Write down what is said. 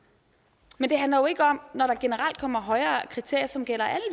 men det handler jo ikke om når der generelt kommer højere kriterier som gælder